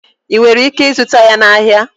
Ị nwere ike ịzụta ya na ahịa.